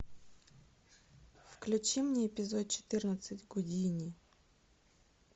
включи мне эпизод четырнадцать гудини